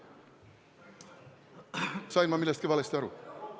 Sain ma millestki valesti aru?